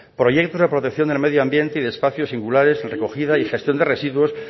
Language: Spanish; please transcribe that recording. proyecto de protección del medio ambiente y de espacios singulares recogida y gestión de residuos